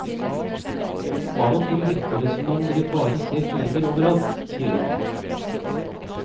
Av og til virker det som om dere bare ser fiender over alt, sier han.